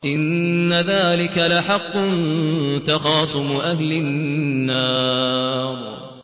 إِنَّ ذَٰلِكَ لَحَقٌّ تَخَاصُمُ أَهْلِ النَّارِ